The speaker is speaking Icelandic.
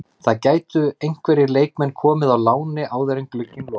Það gætu einhverjir leikmenn komið á láni áður en glugginn lokar.